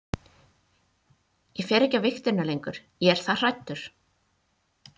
Ég fer ekki á vigtina lengur, ég er það hræddur.